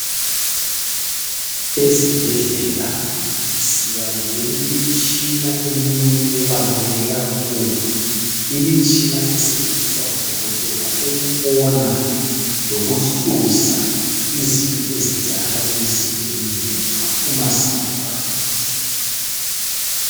Ezibhedlela siba lemitshina eminye ebaluleke kakhulu. Imitshina esetshenziswa ngudokotela ukubona lokuhluza izinto eziyenzakala emzimbeni yethu uma singezwa kuhle.